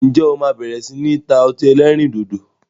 Ǹjẹ́ o máa bẹ̀rẹ̀ sini ta ọtí ẹlẹ́rìndòdò?